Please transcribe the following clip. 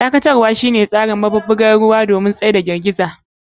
Dakatarwa shine tsarin taya, iskan taya, maɓuɓɓugan ruwa, masu ɗaukar girgiza.